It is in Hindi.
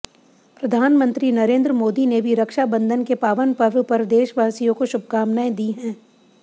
प्रधानमंत्री नरेंद्र मोदी ने भी रक्षाबंधन के पावन पर्व पर देशवासियों को शुभकामनाएं दी हैं